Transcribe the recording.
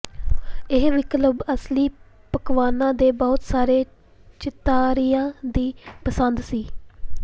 ਇਹ ਵਿਕਲਪ ਅਸਲੀ ਪਕਵਾਨਾਂ ਦੇ ਬਹੁਤ ਸਾਰੇ ਚਿਤਾਰੀਆਂ ਦੀ ਪਸੰਦ ਸੀ